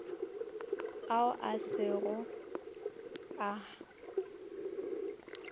ao a se go a